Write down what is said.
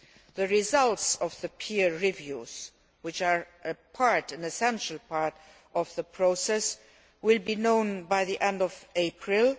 The results of the peer reviews, which are an essential part of the process, will be known by the end of April.